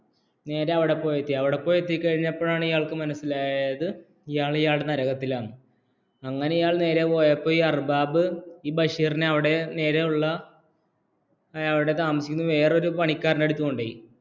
നേരെ അവിടെ പോയി എത്തി എന്നിട്ട് അവിടെ പോയി എത്തിയപ്പോഴാണ് മനസ്സിലായത് ഇയാൾ നേരെ നരകത്തിലാണ് ഈ അർബാബ് ഈ ബഷീറിനെ അയാളുടെ താമസിക്കുന്ന വേറൊരു പണിക്കാരന്റെ അടുത്ത് കൊണ്ടുപോയി